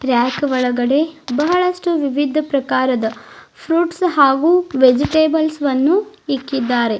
Rack ಒಳಗಡೆ ಬಹಳಷ್ಟು ವಿವಿಧ ಪ್ರಕಾರದ ಫ್ರುಟ್ಸ್ ಹಾಗು ವೆಜಿಟೆಬಲ್ಸ್ ವನ್ನು ಇಕ್ಕಿದ್ದಾರೆ.